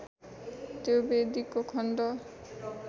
त्यो वेदीको खण्ड